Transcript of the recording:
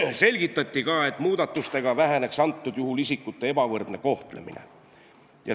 Veel selgitati, et muudatustega väheneks praegusel juhul isikute ebavõrdne kohtlemine.